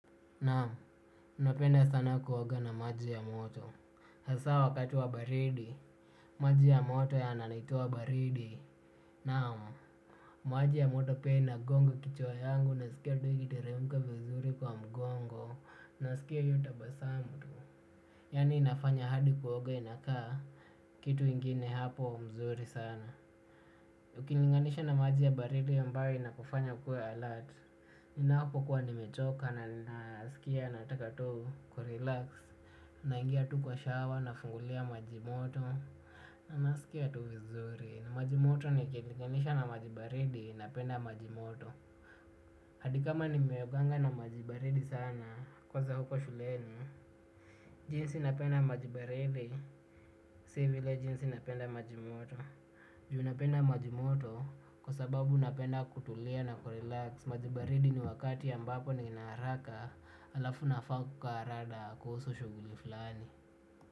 Naam, napenda sana kuoga na maji ya moto hasaa wakati wa baridi. Maji ya moto yananitoa baridi. Naam. Maji ya moto pia inagonga kichwa yangu nasikia tu ikitiremka vizuri kwa mgongo. Nasikia hiyo tabasamu tu. Yaani inafanya hadi kuoga inakaa kitu ingine hapo mzuri sana. Ukilinganisha na maji ya baridi ambayo inakufanya ukuwe alert. Ninapokuwa nimechoka na nasikia nataka tu kurelax. Naingia tu kwa shawa nafungulia maji moto. Na nasikia tu vizuri. Maji moto nikilinganisha na maji baridi napenda maji moto. Hadi kama nimeoganga na maji baridi sana kwanza huko shuleni. Jinsi napenda maji baridi, si vile jinsi napenda maji moto. Ju napenda maji moto kwa sababu napenda kutulia na kurelax maji baridi ni wakati ambapo nina haraka. Halafu nafaa kukaa rada kuhusu shughuli fulani.